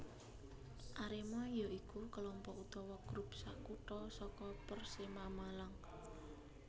Arema ya iku kelompok utawa grup sakutha saka Persema Malang